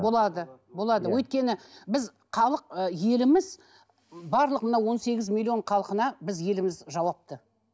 болады болады өйткені біз халық ы еліміз барлық мына он сегіз миллион халқына біз еліміз жауапты